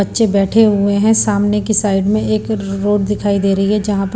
बच्चे बैठे हुए हैं सामने की साइड में एक रोड दिखाई दे रही है जहां पे--